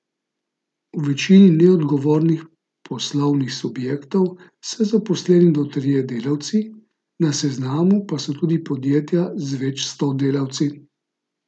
V večini neodgovornih poslovnih subjektov so zaposleni do trije delavci, na seznamu pa so tudi podjetja z več sto delavci.